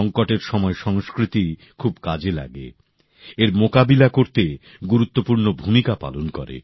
সঙ্কটের সময় সংস্কৃতি খুব কাজে লাগে এর মোকাবিলা করতে গুরুত্বপূর্ণ ভূমিকা পালন করে